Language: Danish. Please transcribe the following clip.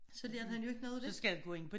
Så lærte han jo ikke noget af det